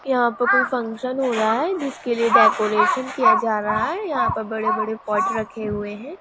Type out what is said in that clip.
यहां पर कोई फंसन हो रहा है जिसके लिए डेकोरेशन किया जा रहा हैं यहां पर बड़े-बड़े पॉट रखे हुए हैं।